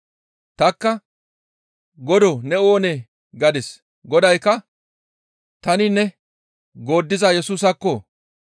«Tanikka, ‹Godoo! Ne oonee?› gadis; Godaykka, ‹Tani ne, gooddiza Yesusaakko!